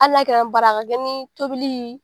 Hali n'a kɛra, bari a ka kɛ ni tobili